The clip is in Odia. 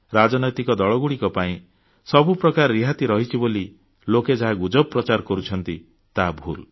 ରାଜନୈତିକ ଦଳଗୁଡ଼ିକ ପାଇଁ ସବୁ ପ୍ରକାର ରିହାତି ରହିଛି ବୋଲି ଲୋକେ ଯାହା ଗୁଜବ ପ୍ରଚାର କରୁଛନ୍ତି ତାହା ଭୁଲ